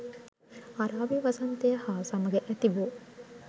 අරාබි වසන්තය හා සමග ඇතිවූ